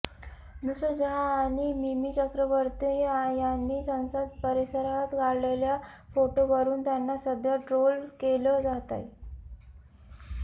नुसरत जहाँ आणि मिमी चक्रवर्ती यांनी संसद परिसरात काढलेल्या फोटोवरून त्यांना सध्या ट्रोल केलं जातय